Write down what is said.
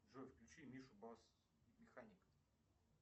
джой включи мишу басс механик